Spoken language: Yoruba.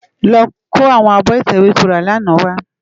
Lò kó áwòn ábò itèwé tó rá làná wá